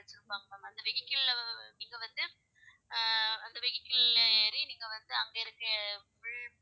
வச்சிருப்பாங்க ma'am அந்த vehicle ல நீங்க வந்து ஆஹ் அந்த vehicle ல நீங்க ஏறி அங்க இருக்கிற